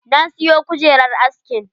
Na siyo kujerar askin.